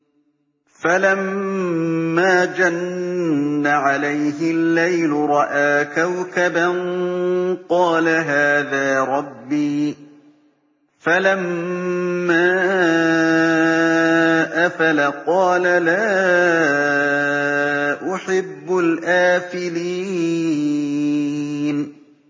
فَلَمَّا جَنَّ عَلَيْهِ اللَّيْلُ رَأَىٰ كَوْكَبًا ۖ قَالَ هَٰذَا رَبِّي ۖ فَلَمَّا أَفَلَ قَالَ لَا أُحِبُّ الْآفِلِينَ